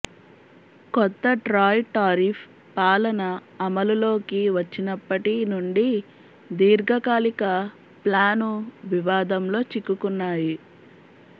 కొత్త ట్రాయ్ టారిఫ్ పాలన అమలులోకి వచ్చినప్పటి నుండి దీర్ఘకాలిక ప్లాను వివాదంలో చిక్కుకున్నాయి